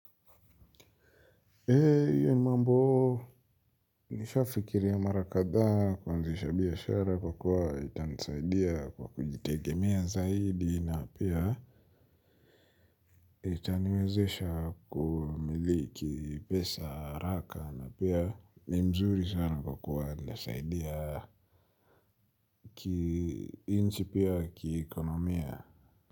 Hiyo ni mambo nishafikiria marakadha kuanzisha biashara kwa kuwa itanisaidia kwa kujitegemea zaidi na pia itaniwezesha kumiliki pesa haraka na pia ni mzuri sana kwa kuwa ndasaidia ki inchi pia ki ekonomia.